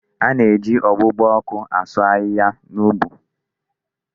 A na-eji ọgbugba ọkụ asụ ahịhịa n'ubi.